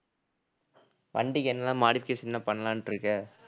வண்டிக்கு என்னலாம் modification லாம் பண்ணலான்னுட்டு இருக்க